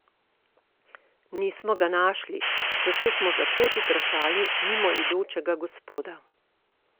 Nismo ga našli, zato smo za pot vprašali mimoidočega gospoda.